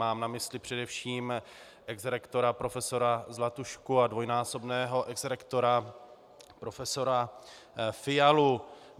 Mám na mysli především exrektora profesora Zlatušku a dvojnásobného exrektora profesora Fialu.